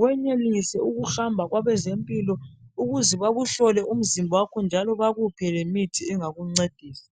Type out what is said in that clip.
wenelise ukuhamba kwabezempilo ukuze bakuhlole umzimba wakho njalo bakuphe lemithi engakuncedisa.